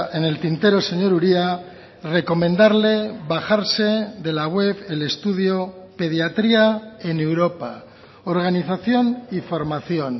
en el tintero señor uria recomendarle bajarse de la web el estudio pediatría en europa organización y formación